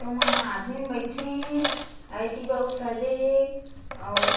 auto मा आदमी बइठे हे अउ एती बर सजे हे अउ--